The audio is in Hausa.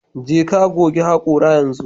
Jeka goge hakora yanzu